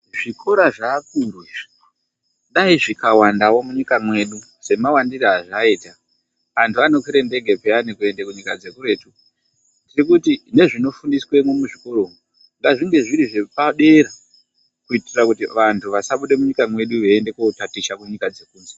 Zvikora zveakuru izvi, dai zvikawandavo munyika yedu semawandiro azvaita. Antu anokwira ndege peyani kuende kuzvikora zvekunyika dzekuretu. Tirikuti nezvinofundiswamo muzvikora umu, ngazvinge zviri zvepadera kuitira kuti vantu vasabude munyika mwedu veiende kotaticha kunyika dzekunze.